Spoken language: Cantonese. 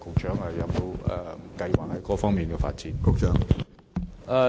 請問局長有沒有這方面的發展計劃？